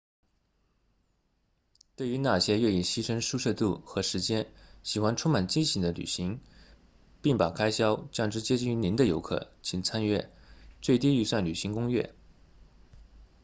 对于那些愿意牺牲舒适度和时间喜欢充满惊喜的旅行并把开销降至接近于零的游客请参阅最低预算旅行攻略